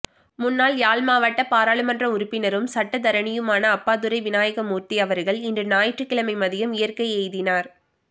முன்னாள் யாழ்மாவட்ட பாராளுமன்ற உறுப்பினரும் சட்டத்தரணியுமான அப்பாத்துரை வினாயகமூர்த்தி அவர்கள் இன்று ஞாயிற்றுக்கிழமை மதியம் இயற்கை எய்தினார்